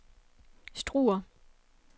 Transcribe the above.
Struer